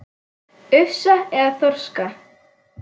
Ufsa eða þorska?